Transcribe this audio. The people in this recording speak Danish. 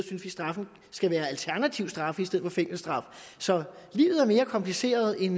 straffene skal være alternative straffe i stedet for fængselsstraffe så livet er mere kompliceret end